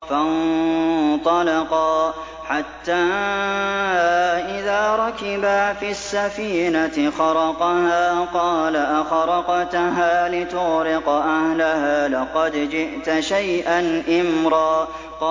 فَانطَلَقَا حَتَّىٰ إِذَا رَكِبَا فِي السَّفِينَةِ خَرَقَهَا ۖ قَالَ أَخَرَقْتَهَا لِتُغْرِقَ أَهْلَهَا لَقَدْ جِئْتَ شَيْئًا إِمْرًا